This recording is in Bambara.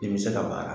I bɛ se ka baara